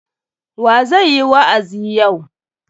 Wa zai yi wa'azi yau?